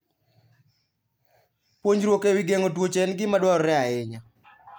Puonjruok e wi geng'o tuoche en gima dwarore ahinya.